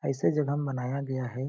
ऐसे जगह में बनाया गया है।